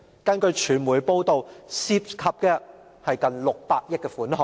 根據傳媒報道，這些工程涉及近600億元的款項。